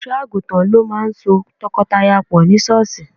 Olùṣọ́ àgùntàn ló máà ń so tọkọtaya pọ̀ ní sọ́ọ̀ṣì